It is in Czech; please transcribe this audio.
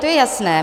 To je jasné.